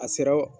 A sera